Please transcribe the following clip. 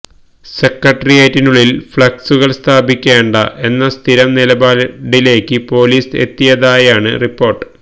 സെക്രട്ടേറിയറ്റിനുള്ളിൽ ഫ്ലക്സുകൾ സ്ഥാപിക്കേണ്ട എന്ന സ്ഥിരം നിലപാടിലേക്ക് പൊലീസ് എത്തിയതായാണ് റിപ്പോർട്ട്